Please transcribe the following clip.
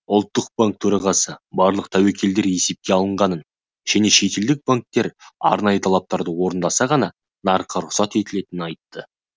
ұлттықбанк төрағасы барлық тәуекелдер есепке алынғанын және шетелдік банктер арнайы талаптарды орындаса ғана нарыққа рұқсат етілетінін айтты